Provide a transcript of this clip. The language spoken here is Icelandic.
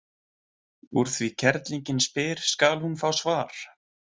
Úr því kerlingin spyr skal hún fá svar.